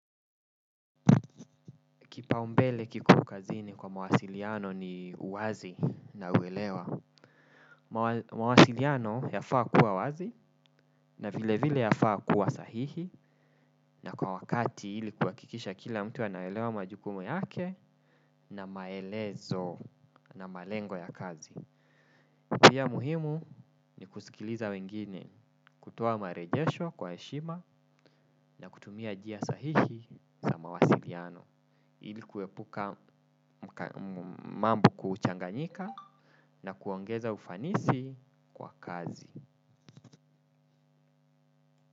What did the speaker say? Kipa umbele kiko kazini kwa mawasiliano ni uwazi na uwelewa. Mawasiliano yafaa kuwa wazi na vile vile yafaa kuwa sahihi na kwa wakati ili kuwakikisha kila mtu anaelewa majukumu yake na maelezo na malengo ya kazi. Pia muhimu ni kusikiliza wengine, kutoa marejesho kwa heshima na kutumia njia sahihi sa mawasiliano, ili kuepuka mambo kuchanganyika na kuongeza ufanisi kwa kazi.